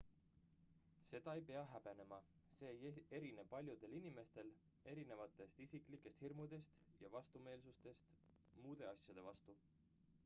seda ei pea häbenema see ei erine paljudel inimestel esinevatest isiklikest hirmudest ja vastumeelsustest muude asjade vastu